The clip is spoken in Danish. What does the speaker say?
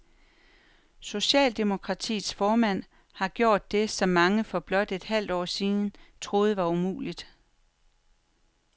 Socialdemokratiets formand har gjort det, som mange for blot et halvt år siden troede var umuligt.